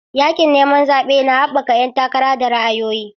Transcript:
Yaƙin neman zaɓe na haɓaka ƴan takara da ra'ayoyi.